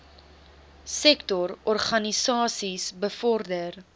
sektor organisasies bevorder